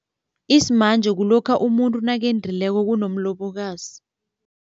Isimanje kulokha umuntu nakendileko kunomlobokazi.